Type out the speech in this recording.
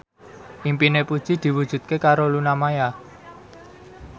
impine Puji diwujudke karo Luna Maya